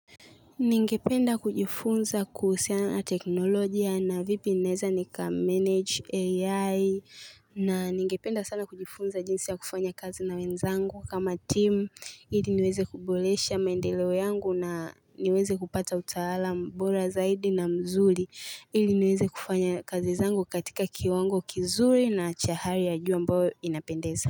Ningependa kujifunza kuhusiana na teknology na vipi naeza nika manage AI mhh na ningependa sana kujifunza jinsi ya kufanya kazi na wenzangu kama team ili niweze kubolesha mendeleo yangu na niweze kupata utaalam bora zaidi na mzuri ili niweze kufanya kazi zangu katika kiwango kizuri na cha hali ya juu ambayo inapendeza.